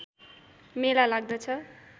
मेला लाग्दछ